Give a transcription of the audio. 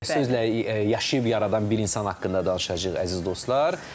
Sizlə yaşayıb yaradan bir insan haqqında danışacağıq, əziz dostlar.